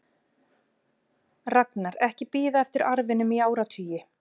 Ragnar ekki bíða eftir arfinum í áratugi.